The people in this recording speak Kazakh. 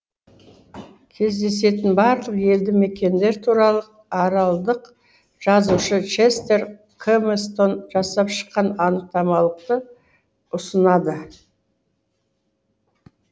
кездесетін барлық елді мекендер туралы аралдық жазушы честер кэмстон жасап шыққан анықтамалықты ұсынады